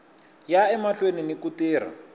ya emahlweni ni ku tirha